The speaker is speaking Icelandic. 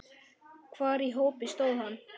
Hvar í hópi stóð hann?